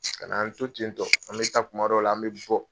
Ka na an to tentɔ an bɛ taa kuma dɔ la an bɛ bɔ.